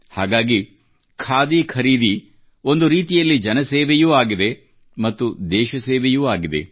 ಹಾಗಾಗಿ ಖಾದಿ ಖರೀದಿ ಒಂದು ರೀತಿಯಲ್ಲಿ ಜನಸೇವೆಯೂ ಆಗಿದೆ ಮತ್ತು ದೇಶ ಸೇವೆಯೂ ಆಗಿದೆ